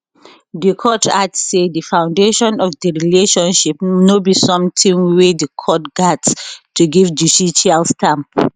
di court add say di foundation of di relationship no be sometin wey di court gatz to give judicial stamp